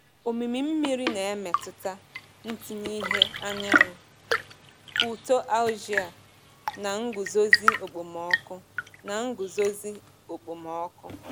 Omimi mmiri na-emetụta ntinye ìhè anyanwụ, uto algae, na nguzozi okpomọkụ. na nguzozi okpomọkụ.